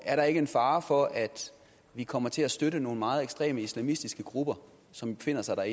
er der ikke en fare for at vi kommer til at støtte nogle meget ekstreme islamistiske grupper som befinder sig dér